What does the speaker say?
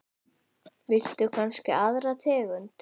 Viltu kannski aðra tegund?